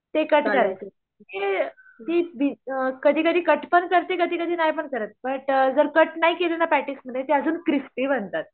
ते कट करते ती कधी कधी कट पण करते कधी कधी नाहीपण करत. बट कट नाही केलना पेटिसेमध्ये ते अजून क्रिस्पी बनतातं.